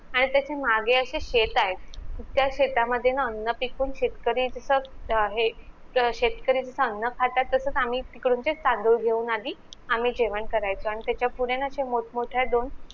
आणि तशे मागे अशे शेत आहेत त्या शेतामध्ये ना अन्न पिकवून शेतकरी तसं अं हे शेतकरी अन्न खातात तसच आम्ही तिकडून ते तांदूळ घेऊन आधी आम्ही जेवण करायचो त्याच्यापुढे ना अशा मोठमोठ्या दोन